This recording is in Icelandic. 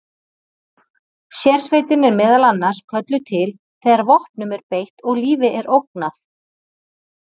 Sérsveitin er meðal annars kölluð til þegar vopnum er beitt og lífi er ógnað.